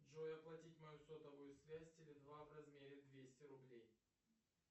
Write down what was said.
джой оплатить мою сотовую связь теле два в размере двести рублей